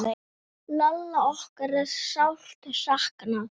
Lalla okkar er sárt saknað.